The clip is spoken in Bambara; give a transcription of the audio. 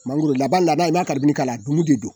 Mangoro lada lada i m'a k'a la a dumuni te jɔ